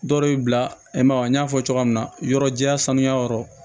Dɔw bɛ bila i ma n y'a fɔ cogoya min na yɔrɔ jɛya sanuya yɔrɔ